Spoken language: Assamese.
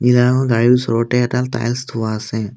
গাড়ীৰ ওচৰতে এটা টাইলস থোৱা আছে।